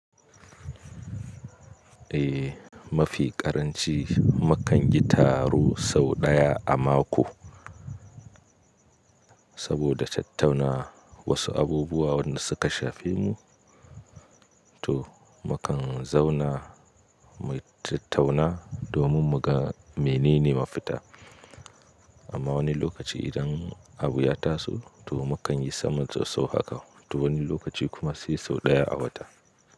Eh, mafi ƙaranci mu kan yi taro sau ɗaya a mako. Saboda tattauna wasu abubuwa wanda suka shafe mu, to mu kan zauna mu tattauna domin muga menene ma fita. Amma wani lokaci idan abu ya taso to mu kan yi saman sosso haka. To wani lokaci kuma sai sau ɗaya a wata.